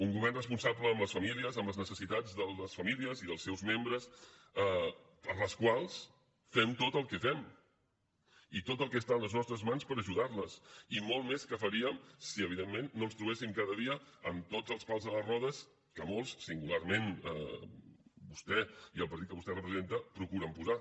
un govern responsable amb les famílies amb les necessitats de les famílies i dels seus membres per les quals fem tot el que fem i tot el que està a les nostres mans per ajudar les i molt més que faríem si evidentment no ens trobéssim cada dia amb tots els pals a les rodes que molts singularment vostè i el partit que vostè representa procuren posar